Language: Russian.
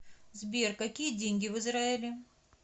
сбер какие деньги в израиле